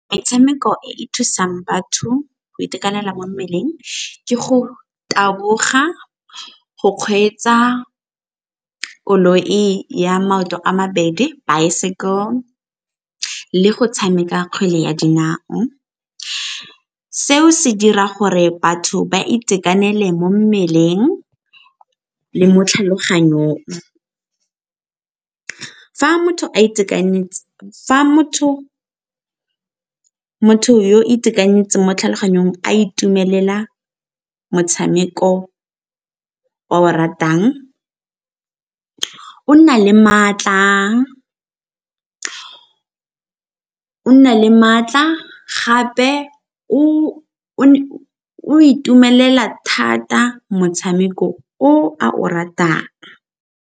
Metshameko e e thusang batho go itekanela mo mmeleng ke go taboga, go kgweetsa koloi ya maoto a mabedi, bicycle, le go tshameka kgwele ya dinao. Seo se dira gore batho ba itekanele mo mmeleng le mo tlhaloganyong. Fa motho yo itekanetseng mo tlhaloganyong a itumelela motshameko o a o ratang o nna le maatla gape o itumelela thata motshameko o a o ratang.